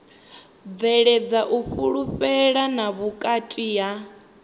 bveledza u fhulufhelana vhukati ha